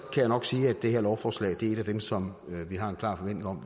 jeg nok sige at det her lovforslag er dem som vi har en klar forventning om